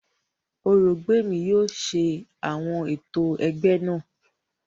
Orògbèmí yóò ṣe àwọn ètò ẹgbẹ́ náà